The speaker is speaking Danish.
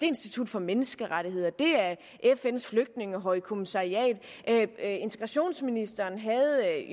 institut for menneskerettigheder det er fns flygtningehøjkommissariat integrationsministeren havde